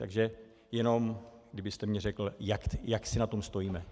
Takže jenom kdybyste mi řekl, jak si na tom stojíme.